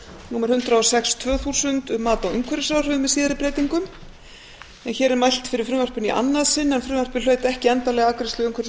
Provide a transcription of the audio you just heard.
númer hundrað og sex tvö þúsund um mat á umhverfisáhrifum með síðari breytingum hér er mælt fyrir frumvarpinu í annað sinn en frumvarpið hlaut ekki endanlega afgreiðslu umhverfis og